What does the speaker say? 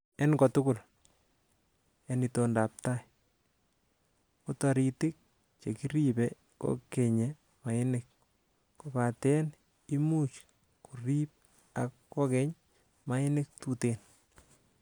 En kotugul, en itondab tai, ko toritik che kiribe kokenye mainik, kobaten imuch koriib ak kokeny mainik tuten.